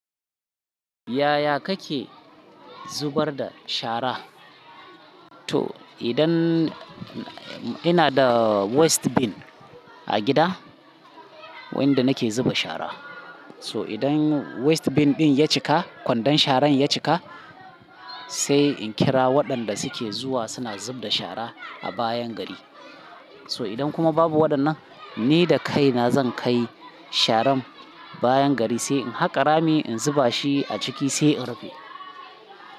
Yaya kake zubar da shara? To idan ina da waste bin a gida wanda nake zuba shara. So idan waste bin ɗin ya cika, kwandon sharan ya cika sai in kira waɗanda suke zuwa suna zub da shara a bayan gari. Toh idan kuma babu waɗannan ni da kaina zan kai sharan bayan gari sai in haƙa rami in zuba shi a ciki sai in rufe.